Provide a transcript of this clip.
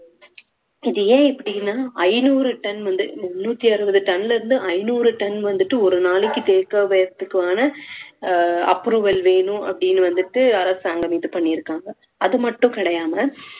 இது ஏன் இப்படின்னா ஐந்நூறு ton வந்து முண்ணூத்தி அறுவது ton ல இருந்து ஐந்நூறு ton வந்துட்டு ஒரு நாளைக்கு தேக்குவதற்கான அஹ் approval வேணும் அப்படீன்னு வந்துட்டு அரசாங்கம் இது பண்ணிருக்காங்க